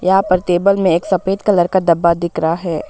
यहां पर टेबल में एक सफेद कलर का डब्बा दिख रहा है।